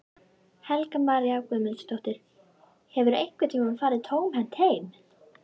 Helga María Guðmundsdóttir: Hefurðu einhvern tímann farið tómhent heim?